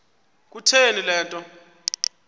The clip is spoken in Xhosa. kutheni le nto